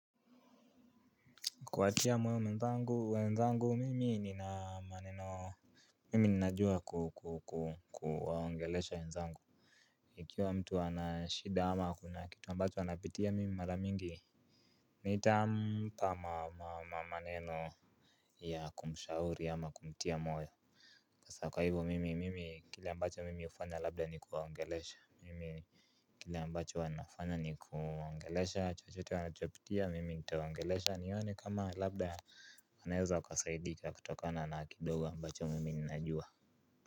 Kuatia moyo mwenzangu wenzangu mimi nina maneno mimi ninajua kuwaongelesha wenzangu. Ikiwa mtu anashida ama kuna kitu ambacho anapitia mimi mara mingi nitampa maneno ya kumshauri ama kumtia moyo hasa kwa hivyo mimi mimi kile ambacho mimi hufanya labda ni kuwaongelesha mimi. Kile ambacho huwa nafanya ni kuwaongelesha chochote wanachopitia mimi nitawaongelesha nione kama labda wanaeza wakasaidika kutokona na kidogo ambacho mimi ninajua.